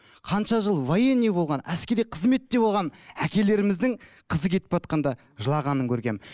қанша жыл военный болған әскери қызметте болған әкелеріміздің қызы кетіп жылағанын көргенмін